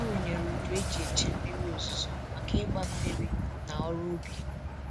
Ọ rụnyere udu e ji eche mmiri ozuzo maka ịgba mmiri na ọrụ ubi